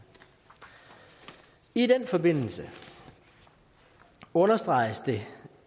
i den forbindelse understreges det